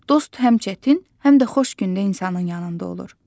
Dost həm çətin, həm də xoş gündə insanın yanında olur.